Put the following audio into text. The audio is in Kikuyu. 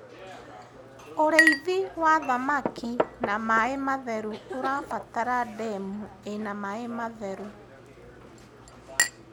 ũrĩithi wa thamakĩ na maĩ matheru ũrabatara ndemu ina maĩ matheru